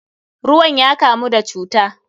Ruwan ya kamu da cuta.